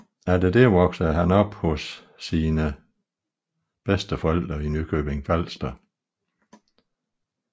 Efter dette voksede han op hos sine bedsteforældre i Nykøbing Falster